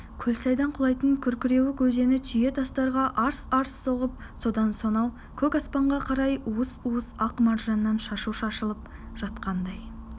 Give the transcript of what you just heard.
көлсайдан құлайтын күркіреуік өзені түйе-тастарға арс-арс соғып содан сонау көк аспанға қарай уыс-уыс ақ маржаннан шашу шашылып жатқандай